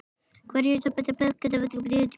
Hvert verk hefur sín lögmál.